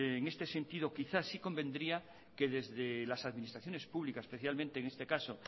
en este sentido quizá si convendría que desde las administraciones públicas especialmente en este caso